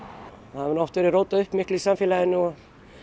það hefur nú oft verið rótað upp miklu í samfélaginu og